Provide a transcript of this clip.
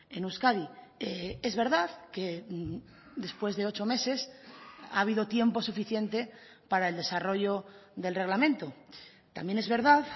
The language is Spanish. en euskadi es verdad que después de ocho meses ha habido tiempo suficiente para el desarrollo del reglamento también es verdad